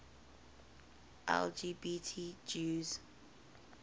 lgbt jews